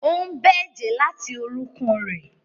Ó ń bẹ́ ẹ̀jẹ̀ láti orúnkún rẹ̀.